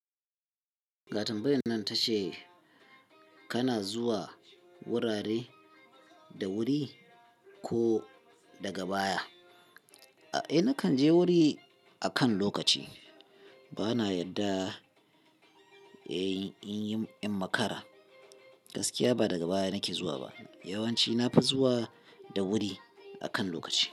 Ga tambayan nan ta ce. Kana zuwa wurare da wuri ko daga baya? Eh nakan je wuri akan lokaci. Bana yadda in in yi iim makara. Gaskiya ba daga baya nake zuwa ba. Yawanci na fi zuwa da wuri, akan lokaci.